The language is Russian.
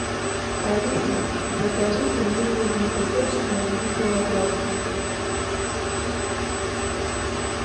алиса закажи пельмени великосочные один килограмм